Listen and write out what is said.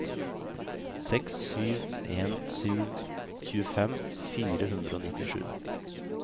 seks sju en sju tjuefem fire hundre og nittisju